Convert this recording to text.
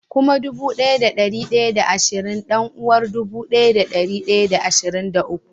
Kuma dubu daya da dari daya da ashirin dan-uwar dubu daya da dari daya da ashirin da uku